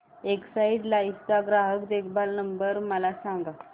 Exide life चा ग्राहक देखभाल नंबर मला सांगा